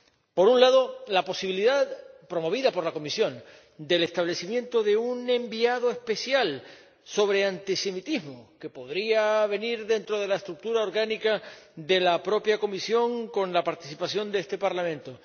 Por un lado, la posibilidad, promovida por la Comisión, del nombramiento de un enviado especial sobre antisemitismo que podría formar parte de la estructura orgánica de la propia Comisión, con la participación de este Parlamento